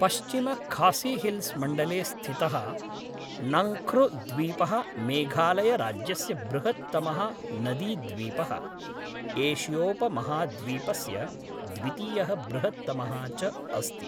पश्चिमखासीहिल्स् मण्डले स्थितः नंख्नुद्वीपः मेघालयराज्यस्य बृहत्तमः नदीद्वीपः, एशियोपमहाद्वीपस्य द्वितीयः बृहत्तमः च अस्ति।